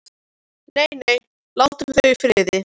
Nei, nei, látum þau í friði.